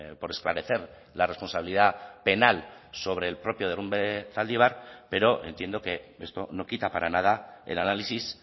por esclarecer la responsabilidad penal sobre el propio derrumbe zaldibar pero entiendo que esto no quita para nada el análisis